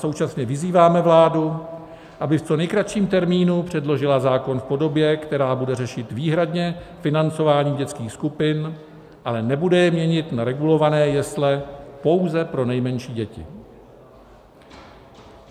Současně vyzýváme vládu, aby v co nejkratším termínu předložila zákon v podobě, která bude řešit výhradně financování dětských skupin, ale nebude je měnit na regulované jesle pouze pro nejmenší děti.